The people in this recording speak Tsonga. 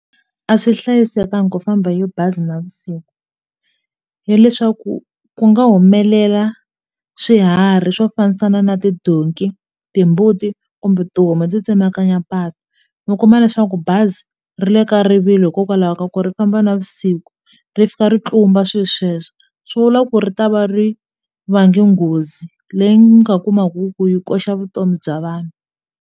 A swi hlayisekanga ku famba hi bazi navusiku hileswaku ku nga humelela swiharhi swo fambisana na tidonki timbuti kumbe tihomu to tsemakanya patu mi kuma leswaku bazi ri le ka rivilo hikokwalaho ka ku ri famba navusiku ri fika ri tlumba swilo sweswo swi vula ku ri ta va ri vange nghozi leyi nga kumaku ku yi koxa vutomi bya vanhu.